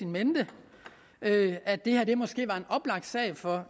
mente at det her måske var en oplagt sag for